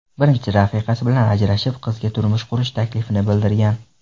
Birinchi rafiqasi bilan ajrashib, qizga turmush qurish taklifini bildirgan.